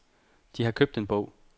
De har købt en bog.